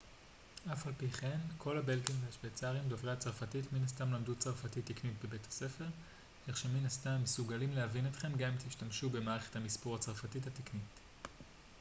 אף על פי כן כל הבלגים והשווייצרים דוברי הצרפתית מן הסתם למדו צרפתית תקנית בבית הספר כך שמן הסתם הם מסוגלים להבין אתכם גם אם תשתמשו במערכת המספור הצרפתית התקנית